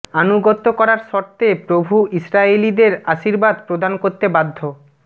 আনুগত্য করার শর্তে প্রভু ইস্রায়েলীয়দের আশীর্বাদ প্রদান করতে বাধ্য